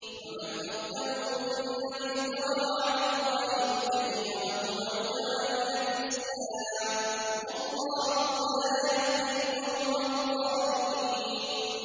وَمَنْ أَظْلَمُ مِمَّنِ افْتَرَىٰ عَلَى اللَّهِ الْكَذِبَ وَهُوَ يُدْعَىٰ إِلَى الْإِسْلَامِ ۚ وَاللَّهُ لَا يَهْدِي الْقَوْمَ الظَّالِمِينَ